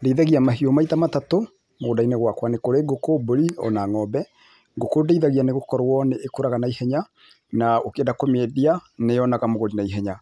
Ndĩithagia mahiũ maita matatũ mũgũnda-inĩ gwakwa. Nĩ kũrĩ ngũkũ, mbũri, o na ng'ombe, ngũkũ ndĩithagia nĩ gũkorwo nĩĩkũraga na ihenya, na ũkĩenda kũmĩendia, nĩyonaga, mũgũri na ihenya.